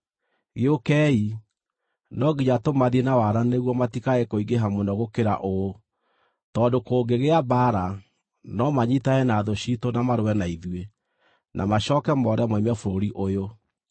Gĩũkei, no nginya tũmathiĩ na wara nĩguo matikae kũingĩha mũno gũkĩra ũũ, tondũ kũngĩgĩa mbaara, no manyiitane na thũ ciitũ na marũe na ithuĩ, na macooke moore moime bũrũri ũyũ.”